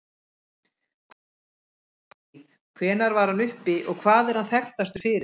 Hvar bjó Evklíð, hvenær var hann uppi og hvað er hann þekktastur fyrir?